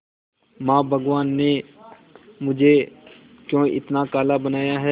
मां भगवान ने मुझे क्यों इतना काला बनाया है